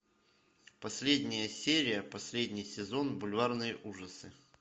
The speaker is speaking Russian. последняя серия последний сезон бульварные ужасы